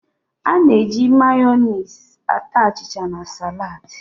A na-eji Mayoniisị ata achịcha na salad